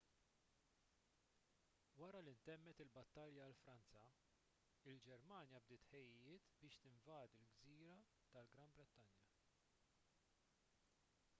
wara li ntemmet il-battalja għal franza il-ġermanja bdiet it-tħejjijiet biex tinvadi l-gżira tal-gran brittanja